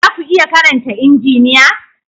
Za ku iya karanta Injiniya?